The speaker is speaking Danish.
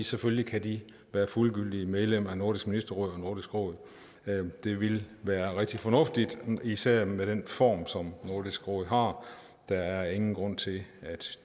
selvfølgelig kan de være fuldgyldigt medlem af nordisk ministerråd og nordisk råd det ville være rigtig fornuftigt især med den form som nordisk råd har der er ingen grund til at